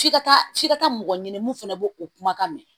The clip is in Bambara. F'i ka taa f'i ka taa mɔgɔ ɲini mun fɛnɛ b'o o kumakan mɛn